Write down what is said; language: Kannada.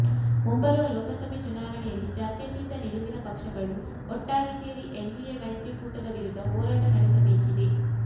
ಮುಂಬರುವ ಲೋಕಸಭೆ ಚುನಾವಣೆಯಲ್ಲಿ ಜಾತ್ಯತೀತ ನಿಲುವಿನ ಪಕ್ಷಗಳು ಒಟ್ಟಾಗಿ ಸೇರಿ ಎನ್ಡಿಎ ಮೈತ್ರಿಕೂಟದ ವಿರುದ್ದ ಹೋರಾಟ ನಡೆಸಬೇಕಿದೆ